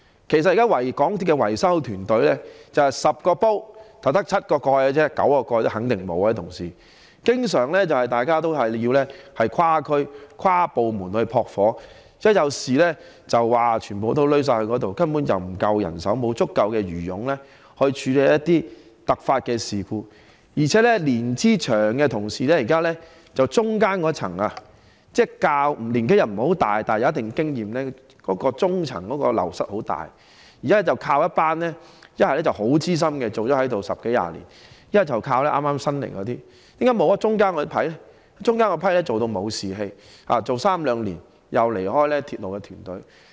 其實港鐵現時的維修團隊面對的情況就像 "10 個煲，只有7個蓋"般——肯定9個蓋也沒有——維修人員經常須跨區、跨部門"撲火"，在發生事故時須動員全部人員，根本沒有足夠人手處理突發事故，而且年資長的同事——即中間年紀不算太大，但有一定經驗的那一層——流失量很大，現時要不便是依靠一群已工作十多二十年、很資深的員工，要不便是靠新入職的同事，為何欠缺了中層的員工？